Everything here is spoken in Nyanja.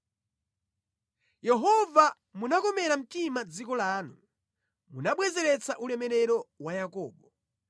Yehova munakomera mtima dziko lanu; munabwezeretsa ulemerero wa Yakobo.